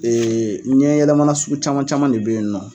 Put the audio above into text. Ee ɲɛ yɛlɛmana sugu caman caman de bɛ yen nɔ.